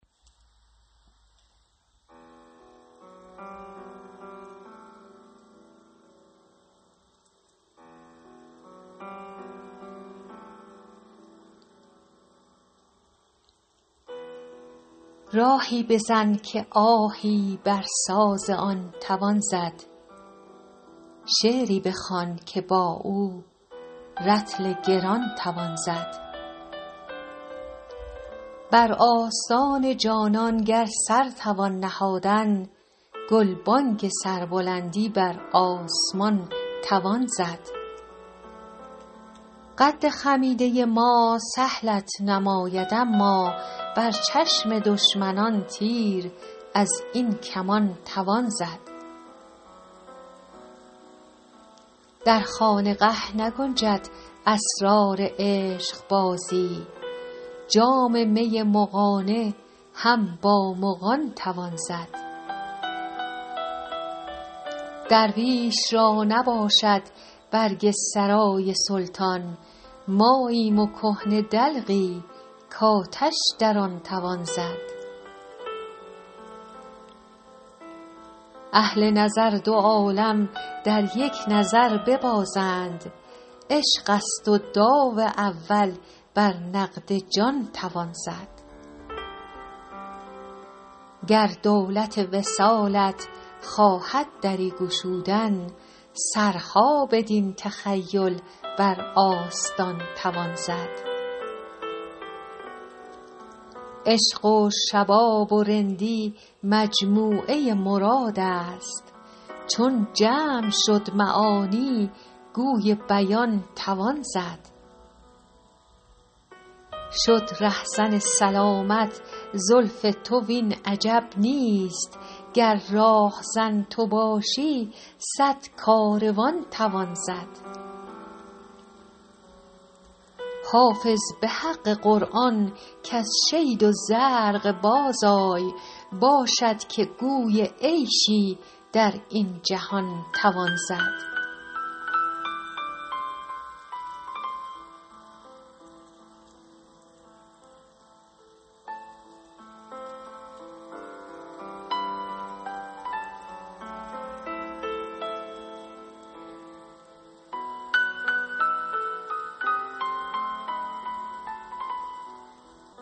راهی بزن که آهی بر ساز آن توان زد شعری بخوان که با او رطل گران توان زد بر آستان جانان گر سر توان نهادن گلبانگ سربلندی بر آسمان توان زد قد خمیده ما سهلت نماید اما بر چشم دشمنان تیر از این کمان توان زد در خانقه نگنجد اسرار عشقبازی جام می مغانه هم با مغان توان زد درویش را نباشد برگ سرای سلطان ماییم و کهنه دلقی کآتش در آن توان زد اهل نظر دو عالم در یک نظر ببازند عشق است و داو اول بر نقد جان توان زد گر دولت وصالت خواهد دری گشودن سرها بدین تخیل بر آستان توان زد عشق و شباب و رندی مجموعه مراد است چون جمع شد معانی گوی بیان توان زد شد رهزن سلامت زلف تو وین عجب نیست گر راهزن تو باشی صد کاروان توان زد حافظ به حق قرآن کز شید و زرق بازآی باشد که گوی عیشی در این جهان توان زد